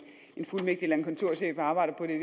fuldmægtig eller en kontorchef og arbejder på det